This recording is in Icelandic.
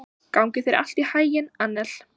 Gangi þér allt í haginn, Annel.